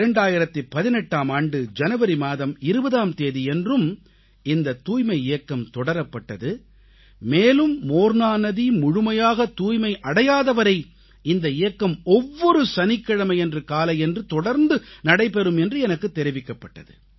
2018ஆம் ஆண்டு ஜனவரி மாதம் 20ஆம் தேதியன்றும் இந்தத் தூய்மை இயக்கம் தொடரப்பட்டது மேலும் மோர்னா நதி முழுமையாக தூய்மை அடையாதவரை இந்த இயக்கம் ஒவ்வொரு சனிக்கிழமையன்று காலையன்று தொடர்ந்து நடைபெறும் என்று எனக்குத் தெரிவிக்கப்பட்டது